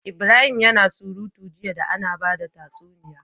Ibrahim yAna surutu jiya da Ana bada tatsuniya